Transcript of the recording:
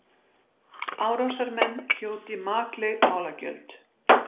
Árásarmenn hljóti makleg málagjöld